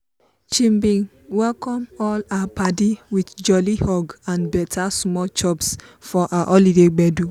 she bin welcome all her padi with jolly hug and better small chops for her holiday gbedu.